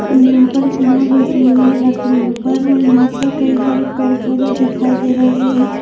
यहाँ पर एक मोर बैठी हुई है लकड़ी ऊपर और यहाँ पर कई सारे पेड़-पौधे दिखाई दे रहे है ।